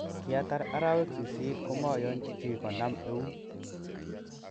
Kiatar araweg sisit komooyonji chi konaman eun.